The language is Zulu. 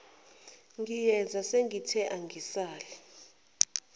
ngiyeza sengithe angisale